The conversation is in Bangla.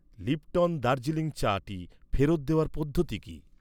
লিপ্টন দার্জিলিং চাটি ফেরত দেওয়ার পদ্ধতি কী?